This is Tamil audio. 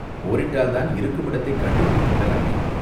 போரிட்டால்தான் இருக்குமிடத்தைக் கண்டுபிடித்து விடலாமே?